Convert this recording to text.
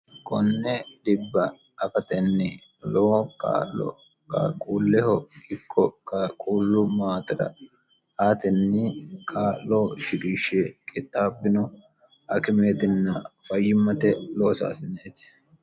konne dhibba afatenni loowo kaa'lo qaaquulleho ikko qaquullu maatera aatenni kaa'loo shiqishshe qixxaabbino akimeetinna fayyimmate loosaasineeti